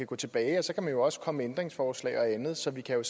gå tilbage og så kan man jo også komme med ændringsforslag og andet så vi kan